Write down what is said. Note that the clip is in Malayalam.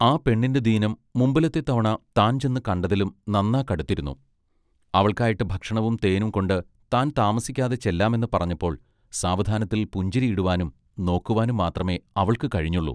ആ പെണ്ണിന്റെ ദീനം മുമ്പിലത്തെ തവണ താൻ ചെന്നു കണ്ടതിലും നന്നാ കടുത്തിരുന്നു അവൾക്കായിട്ട് ഭക്ഷണവും തേനും കൊണ്ട് താൻ താമസിക്കാതെ ചെല്ലാമെന്ന് പറഞ്ഞപ്പോൾ സാവധാനത്തിൽ പുഞ്ചിരി ഇടുവാനും നോക്കുവാനും മാത്രമെ അവൾക്കു കഴിഞ്ഞുള്ളൂ.